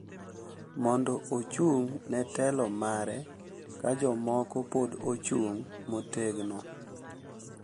Mondo ochung’ ne telo mare, ka jomoko pod ochung’ motegno,